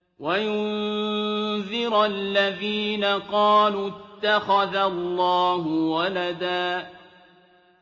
وَيُنذِرَ الَّذِينَ قَالُوا اتَّخَذَ اللَّهُ وَلَدًا